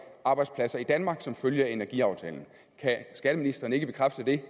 arbejdspladser i danmark som følge af energiaftalen kan skatteministeren ikke bekræfte det